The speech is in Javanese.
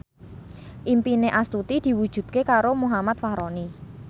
impine Astuti diwujudke karo Muhammad Fachroni